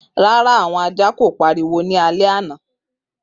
Rara, awọn ajá ko pariwo ni alẹ ana.